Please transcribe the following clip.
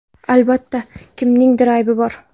Albatta, kimningdir aybi bor.